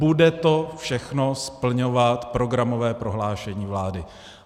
Bude to všechno splňovat programové prohlášení vlády.